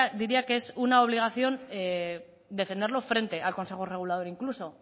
diría que es una obligación defenderlo frente al consejo regulador incluso